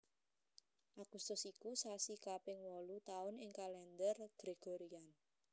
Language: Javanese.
Agustus iku sasi kaping wolu taun ing Kalèndher Gregorian